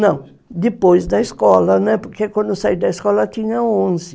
Não, depois da escola, né, porque quando eu saí da escola eu tinha onze.